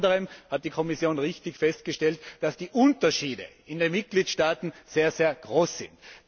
Unter anderem hat die Kommission richtig festgestellt, dass die Unterschiede in den Mitgliedstaaten sehr groß sind.